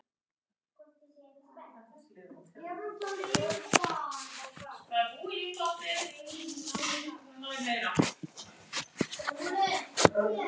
Meira get ég ekki gert.